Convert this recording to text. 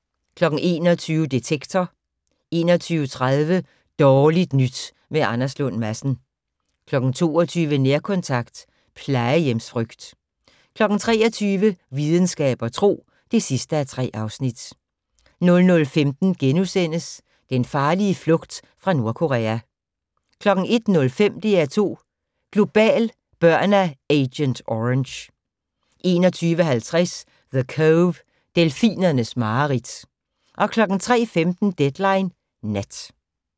21:00: Detektor 21:30: Dårligt nyt med Anders Lund Madsen 22:00: Nærkontakt - plejehjemsfrygt 23:00: Videnskab og tro (3:3) 00:15: Den farlige flugt fra Nordkorea * 01:05: DR2 Global: Børn af Agent Orange 01:50: The Cove - delfinernes mareridt 03:15: Deadline Nat